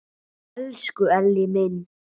Elsku Elli minn!